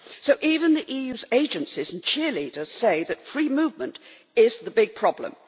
So even the EU's agencies and cheerleaders say that free movement is the big problem.